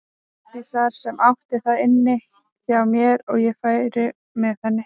Arndísar sem átti það inni hjá mér að ég færi með henni.